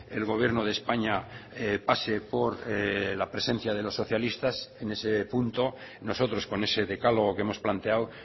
el gobierno de españa pase por la presencia de los socialistas en ese punto nosotros con ese decálogo que hemos planteado